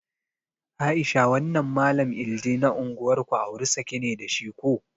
Aisha wannan mallam iIdi na unguwar ku auri saki ne da shi ko?